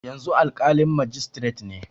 Yanzu alƙalin majistiret ne.